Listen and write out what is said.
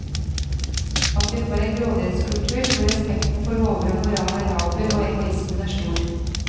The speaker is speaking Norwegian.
At vi får en grådighetskultur hvor respekten for lover og moral er laber og egoismen er stor.